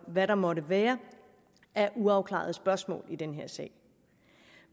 hvad der måtte være af uafklarede spørgsmål i den her sag